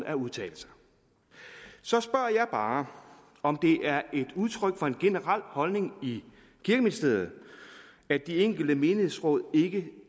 at udtale sig så spørger jeg bare om det er et udtryk for en generel holdning i kirkeministeriet at de enkelte menighedsråd ikke